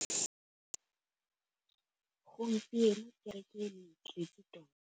Gompieno kêrêkê e ne e tletse tota.